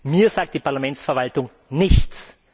Mir sagt die Parlamentsverwaltung nichts!